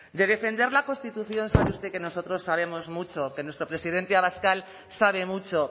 de defender la constitución sabe usted que nosotros sabemos mucho que nuestro presidente abascal sabe mucho